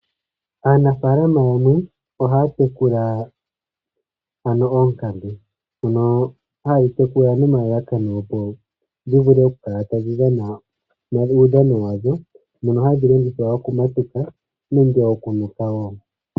Aanafaalama yamwe ohaya tekula oonkambe , dhono haye dhi tekula nelalakano dhi vule oku kala tadhi dhana uudhano wa dho ,dhono hadhi longithwa oku matuka nenge oku nuka.